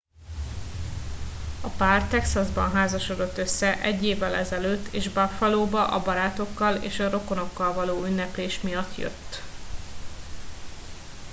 a pár texasban házasodott össze egy évvel ezelőtt és buffalóba a barátokkal és rokonokkal való ünneplés miatt jött